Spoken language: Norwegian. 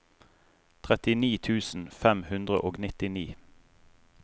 trettini tusen fem hundre og nittini